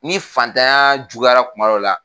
Ni fatanya juguyara kuma dɔ la